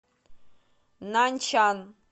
наньчан